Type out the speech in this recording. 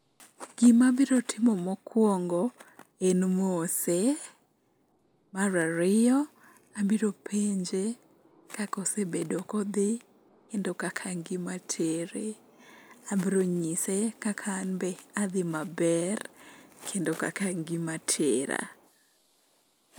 Gimabiro timo mokwongo en mose, mar ariyo abiro penje kaka osebedo kodhi kendo kaka ngima tere, abronyise kaka an be adhi maber kendo kaka ngima tera.